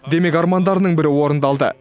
демек армандарының бірі орындалды